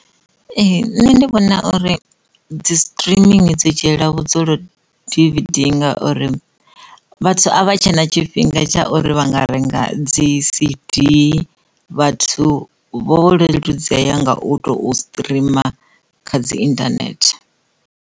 Ee nṋe ndi vhona uri dzi streaming dzi dzhiela vhudzulo DVD ngauri vhathu a vha tshena tshifhinga tsha uri vha nga renga dzi C_D vhathu vho leludzela nga u to streamer kha dzi internet.